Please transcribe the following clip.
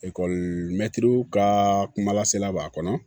mɛtiriw ka kumalasla b'a kɔnɔ